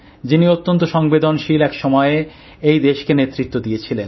যিনি অত্যন্ত সংবেদনশীল এক সমযে় এই দেশকে নেতৃত্ব দিয়েছিলেন